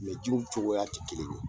Mɛ jiw cogoya tɛ kelen ye.